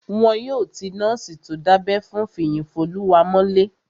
Wọn yóò ti nọ́ọ̀sì tó dábẹ́ fún Fiyinfoluwa mọ́lé